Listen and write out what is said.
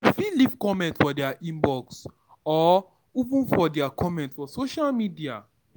You fit leave comment for their Inbox or even for their comment for social media